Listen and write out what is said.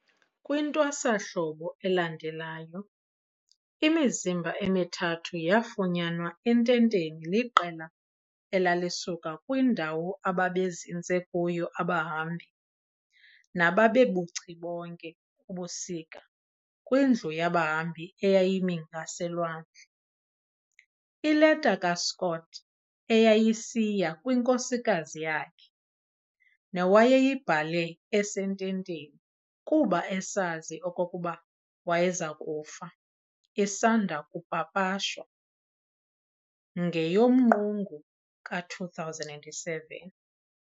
KwiNtwasahlobo elandelayo, imizimba emithathu yafunyanwa ententeni liqela elalisuka kwindawo ababezinze kuyo abahambi, nababebuchibonke ubusika kwindlu yabahambi eyayimi ngaselwandle. Ileta kaScott eyayisiya kwinkosikazi yakhe, newayeyibhale esententeni kuba esazi okokuba wayezakufa, isanda kupapashwa, ngeyoMqungu ka-2007.